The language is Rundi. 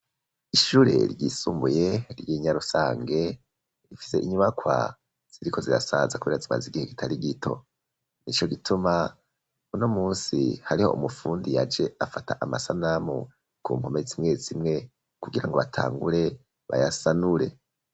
Ishure ry'isumbuye ry'Inyarusange rifise inyubakwa ziriko zirasaza kubera zimaze igihe kitari gito nico gituma uno munsi hariho umufundi yaje afata amasanamu ku npome zimwe zimwe kugira ngo batangure bayasanure.